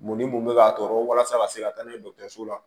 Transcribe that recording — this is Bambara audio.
Mun ni mun bɛ ka tɔɔrɔ walasa a ka se ka taa n'a ye dɔgɔtɔrɔso la